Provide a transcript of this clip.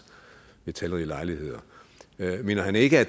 ved talrige lejligheder mener han ikke at